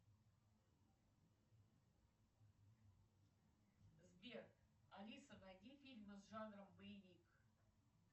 сбер алиса найди фильмы с жанром боевик